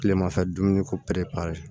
Tilemafɛ dumuni ko pɛrɛnpere